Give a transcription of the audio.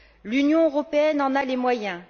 L'Union européenne en a les moyens.